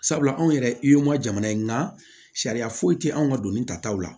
Sabula anw yɛrɛ ma jamana ye nka sariya foyi tɛ anw ka donni ta taw la